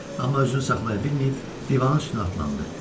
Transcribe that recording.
Amma özünü saxlaya bilməyib, divanın üstünə atılandı.